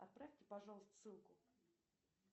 отправьте пожалуйста ссылку